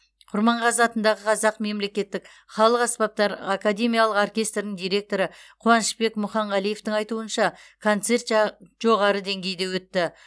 құрманғазы атындағы қазақ мемлекеттік халық аспаптар академиялық оркестрінің директоры қуанышбек мұханғалиевтің айтуынша концерт жа жоғары деңгейде өтті